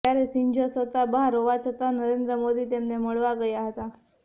ત્યારે શિંજો સત્તા બહાર હોવા છતાં નરેન્દ્ર મોદી તેમને મળવા ગયા હતા